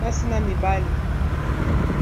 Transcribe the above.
basi na mibali